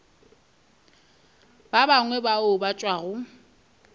ba bangwe bao ba tšwago